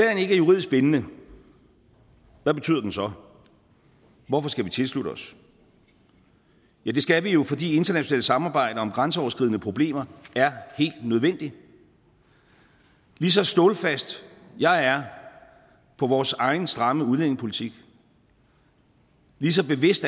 er juridisk bindende hvad betyder den så hvorfor skal vi tilslutte os ja det skal vi jo fordi internationalt samarbejde om grænseoverskridende problemer er helt nødvendigt ligeså stålfast jeg er på vores egen stramme udlændingepolitik ligeså bevidst